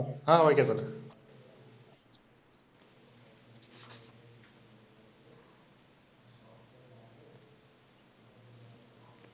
ஆஹ் okay தல.